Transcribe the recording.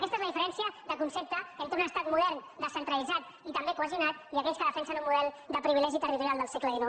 aquesta és la diferència de concepte entre un estat modern descentralitzat i també cohesionat i aquells que defensen un model de privilegi territorial del segle xix